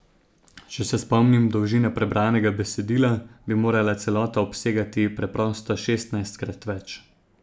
Če se spomnim dolžine prebranega besedila, bi morala celota obsegati preprosto šestnajstkrat več.